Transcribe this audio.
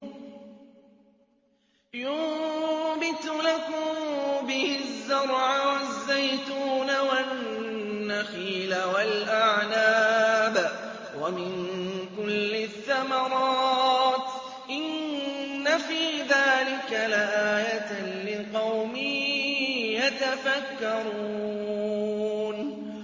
يُنبِتُ لَكُم بِهِ الزَّرْعَ وَالزَّيْتُونَ وَالنَّخِيلَ وَالْأَعْنَابَ وَمِن كُلِّ الثَّمَرَاتِ ۗ إِنَّ فِي ذَٰلِكَ لَآيَةً لِّقَوْمٍ يَتَفَكَّرُونَ